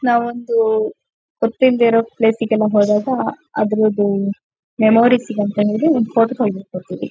ನಾವೊಂದು ಗೊತ್ತಿಲ್ದೆ ಇರೋ ಪ್ಲೇಸ್ ಗೆಲ್ಲಾ ಹೋದಾಗ ಆದರಿದು ಮೆಮೊರಿಸ್ ಗಂತ ಹೇಳಿ ಒಂದು ಫೋಟೋ ತೆಗೆದು ಇಟ್ಕೊತಿವಿ.